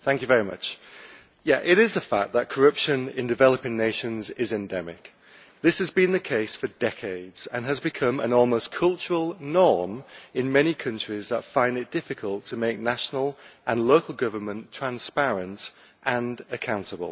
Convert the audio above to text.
Madam President, it is a fact that corruption in developing nations is endemic. This has been the case for decades, and it has become an almost cultural norm in many countries that find it difficult to make national and local government transparent and accountable.